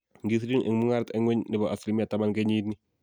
Ngisirin eng mungaret eng ngweny nebo 10% kenyit nii